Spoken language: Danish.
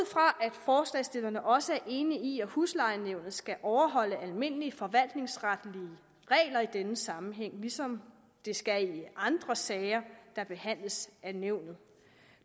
forslagsstillerne også er enige i at huslejenævnet skal overholde almindelige forvaltningsretlige regler i denne sammenhæng ligesom det skal i andre sager der behandles af nævnet